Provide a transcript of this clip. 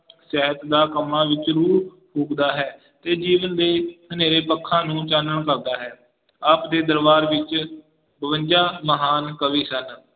ਕੰਮਾਂ ਵਿੱਚ ਹੈ ਤੇ ਦਿਲ ਦੇ ਹਨੇਰੇ ਪੱਖਾਂ ਨੂੰ ਚਾਨਣ ਕਰਦਾ ਹੈ, ਆਪਦੇ ਦਰਬਾਰ ਵਿੱਚ ਬਵੰਜਾ ਮਹਾਨ ਕਵੀ ਸਨ